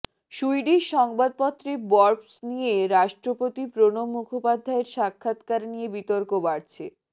Swedish সংবাদপত্রে Bofors নিয়ে রাষ্ট্রপতি প্রণব মুখোপাধ্যায়ের সাক্ষাত্কার নিয়ে বিতর্ক বাড়ছে